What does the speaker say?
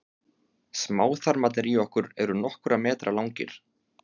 smáþarmarnir í okkur eru nokkurra metra langir